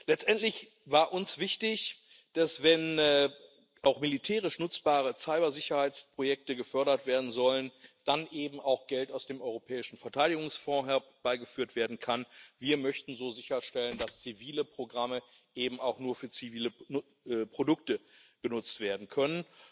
Letztendlich war uns wichtig, dass, wenn auch militärisch nutzbare Cybersicherheitsprojekte gefördert werden sollen, dann eben auch Geld aus dem Europäischen Verteidigungsfonds herbeigeführt werden kann. Wir möchten so sicherstellen, dass zivile Programme eben auch nur für zivile Produkte benutzt werden können.